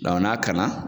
n'a kanna